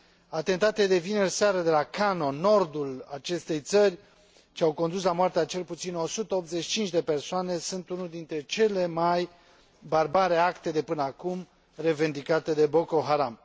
Atentatele de vineri seară de la Kano, din nordul acestei țări, ce au condus la moartea a cel puțin 185 de persoane, sunt unul dintre cele mai barbare acte de până acum revendicate de Boko Haram.